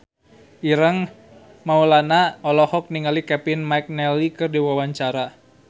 Ireng Maulana olohok ningali Kevin McNally keur diwawancara